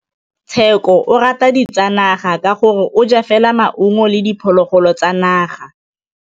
Tshekô o rata ditsanaga ka gore o ja fela maungo le diphologolo tsa naga.